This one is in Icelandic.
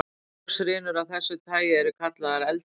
Goshrinur af þessu tagi eru kallaðar eldar.